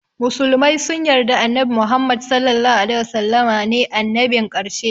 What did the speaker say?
Musulmai sun yarda annabi Muhammad (SAW) ne annabin ƙarshe.